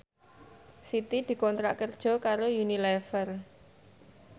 Siti dikontrak kerja karo Unilever